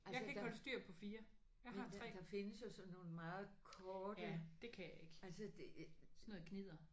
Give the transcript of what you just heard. Altså der men der der findes jo sådan nogle meget korte altså det